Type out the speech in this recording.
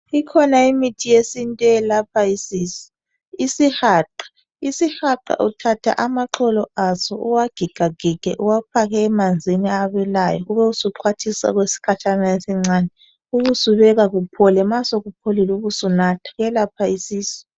Ikhona imithi yesintu eyelapha isisu isihaqa, isihaqa uthatha amagxolo aso uwagigagige uwafake emanzini abilayo ubusuqwathisa okwesikhatshana esincane ube usubeka kuphole ma sokupholile ube usunatha kuyelapha isisu.